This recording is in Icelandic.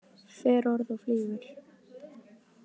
Fer orð og flýgur.